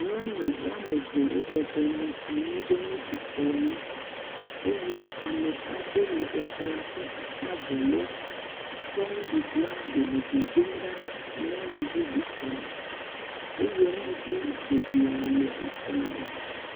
Nyɔnu woame eve wobɔbɔ nɔ anyi ɖe nuɖukplɔ ŋu eye ame aɖe le ekplɔa ƒe akpa evelia tsɔ nuɖuɖua ɖe le dodom ɖa na nyɔnu bubu kemɛ eye nuɖuɖu geɖe le ekplɔa dzi.